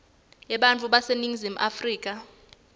ebantfu baseningizimu afrika